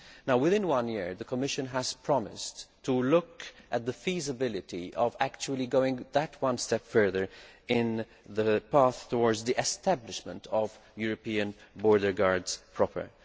Within one year, the Commission has promised to look at the feasibility of actually going that one step further along the path towards the establishment of European border guards proper.